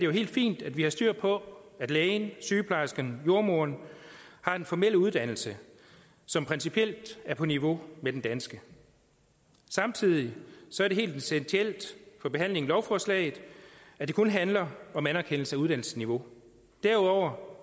helt fint at vi har styr på at lægen sygeplejersken jordemoderen har en formel uddannelse som principielt er på niveau med den danske samtidig er det helt essentielt for behandlingen af lovforslaget at det kun handler om anerkendelse af uddannelsesniveau derudover